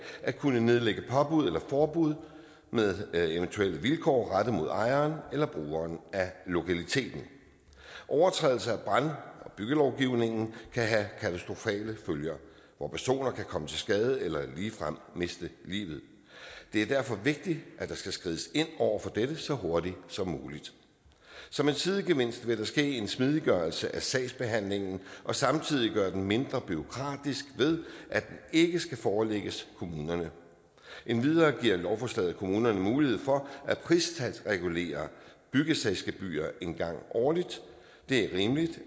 at kunne nedlægge påbud eller forbud med eventuelle vilkår rettet mod ejeren eller brugerne af lokaliteten overtrædelse af brand og byggelovgivningen kan have katastrofale følger hvor personer kan komme til skade eller ligefrem miste livet det er derfor vigtigt at der skal skrides ind over for dette så hurtigt som muligt som en sidegevinst vil der ske en smidiggørelse af sagsbehandlingen og samtidig gøre den mindre bureaukratisk ved at den ikke skal forelægges kommunerne endvidere giver lovforslaget kommunerne mulighed for at pristalsregulere byggesagsgebyrer en gang årligt det er rimeligt